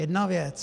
Jedna věc.